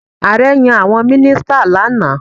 Ààrẹ yan àwọn mínísítà lánàá.